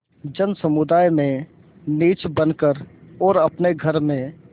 जनसमुदाय में नीच बन कर और अपने घर में